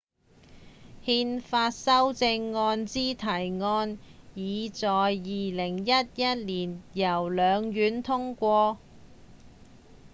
憲法修正案之提案已在2011年由兩院通過